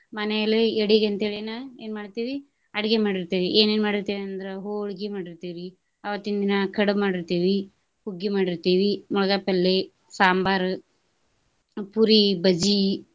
ಮನೆಯಲ್ಲಿ ಎಡಿಗ ಅಂತ ಹೇಳಿನ ಏನ್ ಮಾಡ್ತೇವಿ ಅಡ್ಗಿ ಮಾಡಿರ್ತೆವಿ ಏನೇನ್ ಮಾಡಿರ್ತೆವ ಅಂದ್ರ ಹೊಳ್ಗಿ ಮಾಡಿರ್ತೆವಿ ಅವತ್ತಿನ್ ದಿನ ಕಡುಬ್ ಮಾಡಿರ್ತೆವಿ, ಹುಗ್ಗಿ ಮಾಡಿರ್ತೆವಿ, , ಸಾಂಬಾರ್, ಪುರಿ, ಬಜಿ.